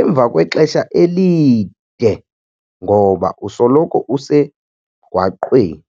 emva kwexesha elide ngoba usoloko usemgwaqweni.